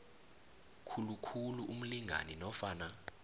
khulukhulu umlingani nofana